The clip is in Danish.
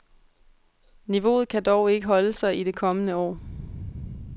Niveauet kan dog ikke holde sig i det kommende år.